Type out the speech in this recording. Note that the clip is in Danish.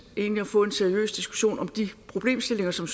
at få en seriøs diskussion om de problemstillinger som